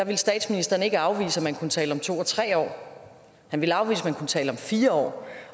ville statsministeren ikke afvise at man kunne tale om to og tre år han ville afvise at kunne tale om fire